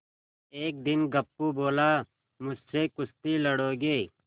एक दिन गप्पू बोला मुझसे कुश्ती लड़ोगे